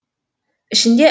ішінде